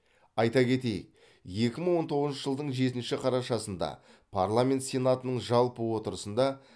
айта кетейік екі мың он тоғызыншы жылдың жетінші қарашасында парламент сенатының жалпы отырысында